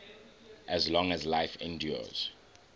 as long as life endures